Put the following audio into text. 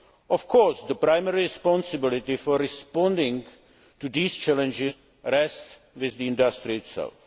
Of course, the primary responsibility for responding to these challenges rests with the industry itself.